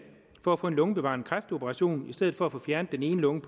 for at få en lungebevarende kræftoperation i stedet for at de får fjernet en lunge